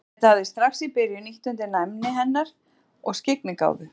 Þetta hafi strax í byrjun ýtt undir næmi hennar og skyggnigáfu.